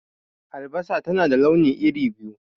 Albasa na da launi iri biyu.